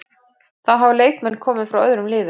Þá hafa leikmenn komið frá öðrum liðum.